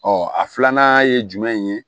Ɔ a filanan ye jumɛn ye